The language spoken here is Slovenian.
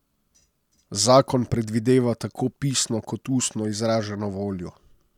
Zakon predvideva tako pisno kot ustno izraženo voljo.